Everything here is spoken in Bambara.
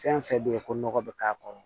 Fɛn fɛn bɛ ye ko nɔgɔ bɛ k'a kɔnɔ